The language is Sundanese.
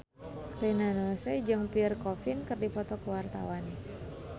Rina Nose jeung Pierre Coffin keur dipoto ku wartawan